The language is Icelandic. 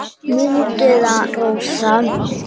Mundu það, Rósa.